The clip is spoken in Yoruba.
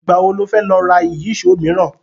Ìgbà wo lo fẹ́ lọ ra Ìyíṣòó míràn?